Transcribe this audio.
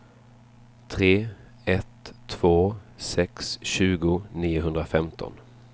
tre ett två sex tjugo niohundrafemton